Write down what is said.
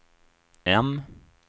M